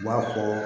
U b'a fɔ